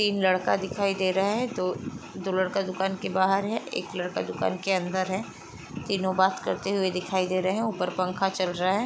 तीन लड़का दिखाई दे रहा है। दो दो लड़का दुकान के बाहर है एक लड़का दुकान के अंदर है। तीनो बात करते हुए दिखाई दे रहे हैं। ऊपर पंखा चल रहा है।